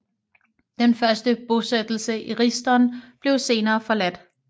Den første bosættelse i Risdon blev senere forladt